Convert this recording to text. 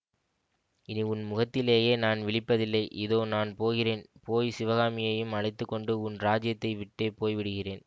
இனி உன் முகத்திலேயே நான் விழிப்பதில்லை இதோ நான் போகிறேன் போய் சிவகாமியையும் அழைத்து கொண்டு உன் இராஜ்யத்தை விட்டே போய் விடுகிறேன்